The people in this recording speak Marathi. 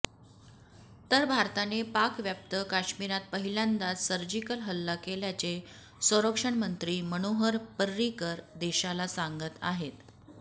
तर भारताने पाकव्याप्त काश्मिरात पहिल्यांदाच सर्जिकल हल्ला केल्याचे संरक्षणमंत्री मनोहर पर्रिकर देशाला सांगत आहेत